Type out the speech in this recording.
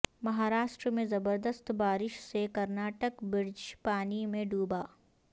مہاراشٹر میں زبردست بارش سے کرناٹک برج پانی میں ڈوبا